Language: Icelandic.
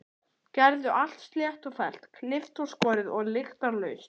Gerði allt slétt og fellt, klippt og skorið og lyktarlaust.